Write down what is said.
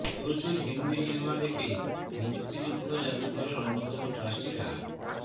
প্রচুর হিন্দি সিনেমা দেখে মুক্তিযুদ্ধ জাদুঘরের অন্যতম ট্রাস্টি ডা